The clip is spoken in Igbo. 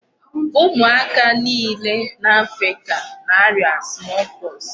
Ụmụaka niile n'Africa na-aria small pox.